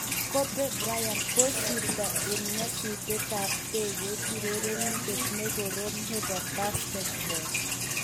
Kobe Bryant:kosirto eng nyasutietab ndekeit urerenindet ne korom nebo Basketball